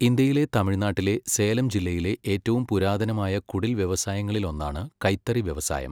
ഇന്ത്യയിലെ തമിഴ്നാട്ടിലെ സേലം ജില്ലയിലെ ഏറ്റവും പുരാതനമായ കുടിൽ വ്യവസായങ്ങളിലൊന്നാണ് കൈത്തറി വ്യവസായം.